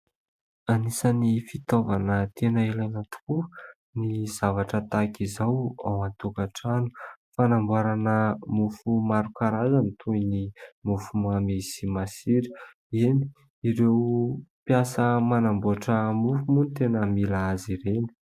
Anisany fitaovana tena ilaina tokoa ny zavatra tahaka izao ao an-tokantrano. Fanamboarana mofo maro karazany toy ny mofomamy sy masira, eny ireo mpiasa manamboatra mofo moa ny tena mila azy ireny.